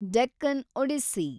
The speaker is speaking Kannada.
ಡೆಕ್ಕನ್ ಒಡಿಸ್ಸಿ